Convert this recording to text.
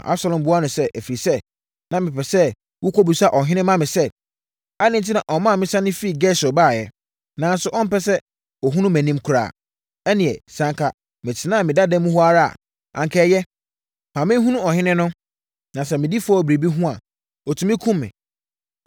Na Absalom buaa no sɛ, “Ɛfiri sɛ, na mepɛ sɛ wokɔbisa ɔhene ma me sɛ, adɛn enti na ɔmaa me sane firi Gesur baeɛ, nanso ɔmpɛ sɛ ɔhunu mʼanim koraa? Ɛnneɛ, sɛ anka metenaa me dada mu hɔ ara a, anka ɛyɛ. Ma menhunu ɔhene no, na sɛ medi fɔ wɔ biribi ho a, ɔtumi kum me.”